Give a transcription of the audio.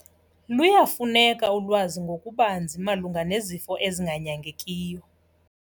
Luyafuneka ulwazi ngokubanzi malunga nezifo ezinganyangekiyo.